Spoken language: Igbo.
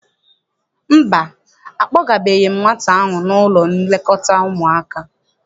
Mba, akpọgabeghị m nwata ahụ n'ụlọ nlekọta ụmụaka.